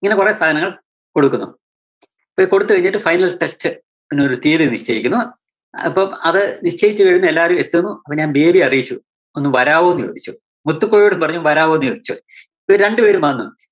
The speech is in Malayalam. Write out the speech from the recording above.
ഇങ്ങനെ കുറെ സാധങ്ങൾ കൊടുക്കുന്നു. അപ്പോ ഇത് കൊടുത്തുകഴിഞ്ഞിട്ട് final touch ~ന് ഒരു തിയ്യതി നിശ്ചയിക്കുന്നു. അപ്പോ അത് നിശ്ചയിച്ചുകഴിഞ്ഞ് എല്ലാരും എത്തുന്നു. അപ്പോ ഞാൻ ബേബിയെ അറിയിച്ചു. ഒന്ന് വരാവോന്ന് ചോദിച്ചു, മുത്തുക്കോയോടും പറഞ്ഞു വരാവോ എന്ന് ചോദിച്ചു, ഇവര് രണ്ടുപേരും വന്ന്.